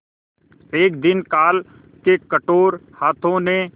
एक दिन काल के कठोर हाथों ने